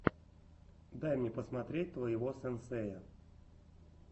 дай мне посмотреть твоего сенсея